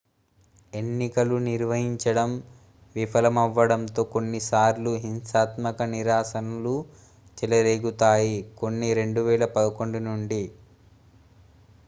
ఎన్నికలు నిర్వహించడం విఫలమవ్వడంతో కొన్ని సార్లు హింసాత్మక నిరసనలు చెలరేగుతాయి కొన్ని 2011 నుండి